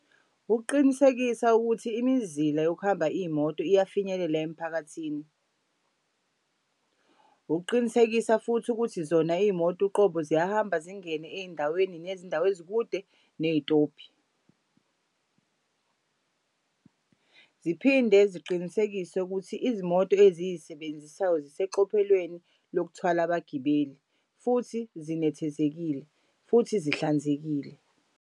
Ukuqinisekisa ukuthi imizila yokuhamba iy'moto iyafinyelela emphakathini. Ukuqinisekisa futhi ukuthi zona iy'moto uqobo ziyahamba zingene ey'ndaweni nezindawo ezikude neyitobhi. Ziphinde ziqinisekise ukuthi izimoto eziy'sebenzisayo ziseqophelweni lokuthwala abagibeli futhi zinethezekile futhi zihlanzekile.